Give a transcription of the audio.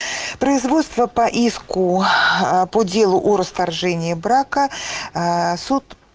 производство по иску по делу о расторжении брака суд